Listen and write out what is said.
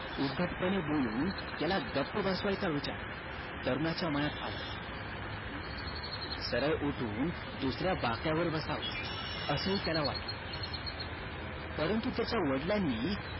उद्धटपणे बोलून त्याला गप्प बसवायचा विचार तरुणाच्या मनात आला सरळ उठून दुसऱ्या बाकावर बसावं असं हि त्याला वाटलं परंतु त्याच्या वडिलांनी